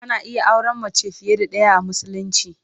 Ana iya auren mace fiye da ɗaya a Musulunci.